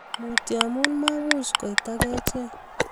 Mutyo amu mamuch koit ak achek